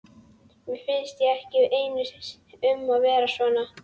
Mér finnst ég ekki einn um að vera svona